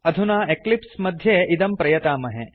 अधुना एक्लिप्स् मध्ये इदं प्रयतामहे